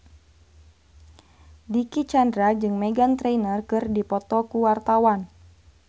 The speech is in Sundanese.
Dicky Chandra jeung Meghan Trainor keur dipoto ku wartawan